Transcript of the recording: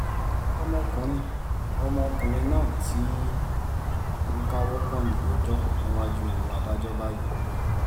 ọmọkùnrin ọmọkùnrin náà ti ń káwọ́ pọ̀nyìn rojọ́ níwájú adájọ́ báyìí